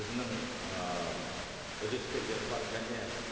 өзінің ы үлескерлері бар және